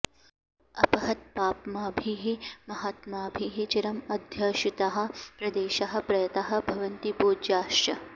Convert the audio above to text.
अपहतपाप्मभिः महात्मभिः चिरम् अध्युषिताः प्रदेशाः प्रयताः भवन्ति पूज्याश्च